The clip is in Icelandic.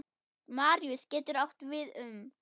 Maríus getur átt við um